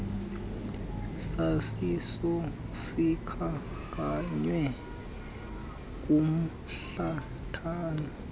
saziso sikhankanywe kumhlathana